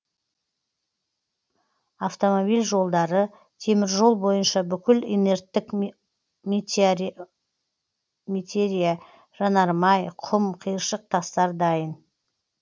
автомобиль жолдары теміржол бойынша бүкіл инерттік метериа жанармай құм қиыршық тастар дайын